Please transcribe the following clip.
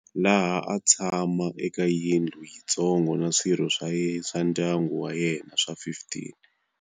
Laha a tshama eka yindlu yi ntsongo na swirho swa ndyangu wa yena swa 15.